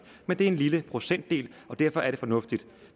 men det er en lille procentdel og derfor er det fornuftigt